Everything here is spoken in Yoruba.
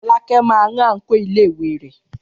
Fọlákẹ́ máa rán àǹkóò iléèwé rẹ̀.